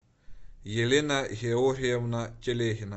елена георгиевна телегина